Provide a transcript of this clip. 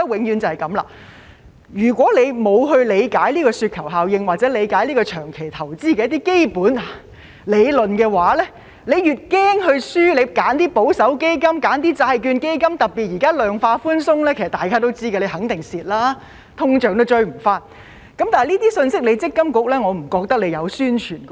如果不理解這個雪球效應或長期投資的基本理論，因害怕輸而選擇保守基金、債券基金，特別是現在量化寬鬆，大家也知道肯定會蝕的，連通脹也追不上，但我不見積金局有宣傳這些信息。